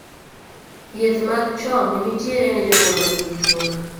Thiedh mag chong' nitiere ne jogo manigi tuo no